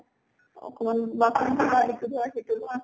অকমান বাচন ধোৱা ইটো ধোৱা সিটো ধোৱা